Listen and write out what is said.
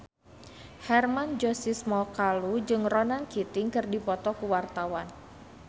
Hermann Josis Mokalu jeung Ronan Keating keur dipoto ku wartawan